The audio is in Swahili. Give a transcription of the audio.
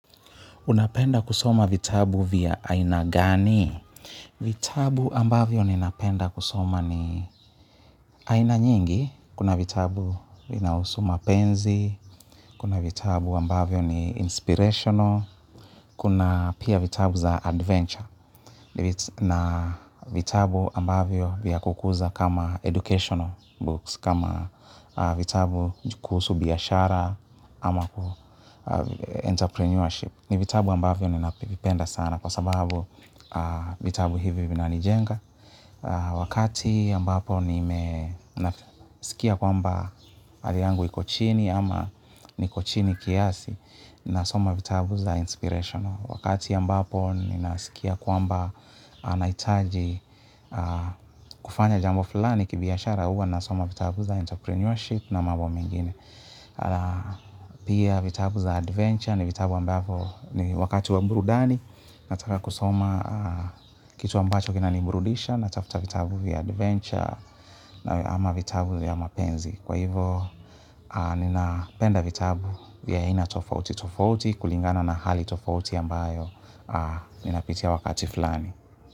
Unapenda kusoma vitabu vya aina gani? Vitabu ambavyo ninapenda kusoma ni aina nyingi. Kuna vitabu vinahusu mapenzi. Kuna vitabu ambavyo ni inspirational. Kuna pia vitabu za adventure. Na vitabu ambavyo vya kukuza kama educational books kama vitabu kuhusu biashara ama entrepreneurship. Ni vitabu ambavyo ninavipenda sana kwa sababu vitabu hivi vinanijenga. Wakati ambapo nimesikia kwamba hali yangu iko chini ama niko chini kiasi nasoma vitabu za inspirational wakati ambapo ninasikia kwamba nahitaji kufanya jambo fulani kibiashara huwa nasoma vitabu za entrepreneurship na mambo mingine pia vitabu za adventure ni vitabu ambavyo ni wakati wa burudani nataka kusoma kitu ambacho kinaniburudisha natafuta vitabu vya adventure na ama vitabu vya mapenzi kwa hivo, ninapenda vitabu vya ina tofautitofauti kulingana na hali tofauti ambayo ninapitia wakati fulani.